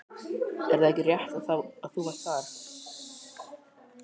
Er það ekki rétt að þú varst þar?